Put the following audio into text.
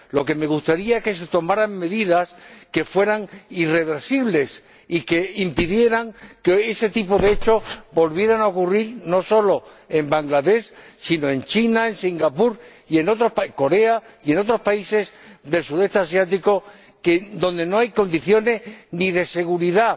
Lo que me gustaría es que se tomaran medidas que fueran irreversibles y que impidieran que hoy ese tipo de hechos volviera a ocurrir, no solo en Bangladés sino también en China, en Singapur, en Corea y en otros países del sudeste asiático donde no hay condiciones ni de seguridad